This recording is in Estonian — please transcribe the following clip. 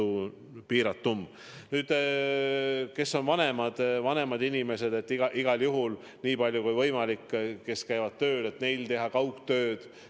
Nüüd, mis puutub vanematesse inimestesse, kes käivad tööl, siis igal juhul, nii palju kui võimalik, peaks nad tegema kaugtööd.